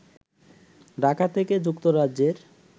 ঢাকা থেকে যুক্তরাজ্যের